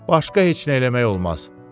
Başqa heç nə eləmək olmaz.